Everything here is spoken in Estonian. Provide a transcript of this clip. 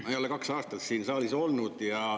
Ma ei ole kaks aastat siin saalis olnud.